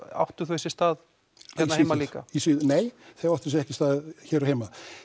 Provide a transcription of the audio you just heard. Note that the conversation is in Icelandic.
áttu þau sér stað hérna heima líka nei þau áttu sér ekki stað hér heima